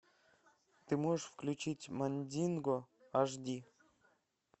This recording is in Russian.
ты можешь включить мандинго аш ди